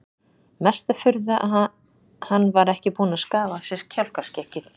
Mesta furða að hann var ekki búinn að skafa af sér kjálkaskeggið!